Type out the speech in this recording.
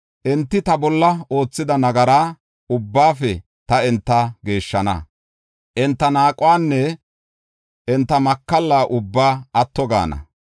Enti tana oothida nagara ubbaafe ta enta geeshshana; enti naaquwanne enta makalla ubbaa atto gaana.